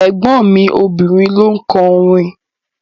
Ẹ̀gbọ́n mi obìnrin ló ń kọrin.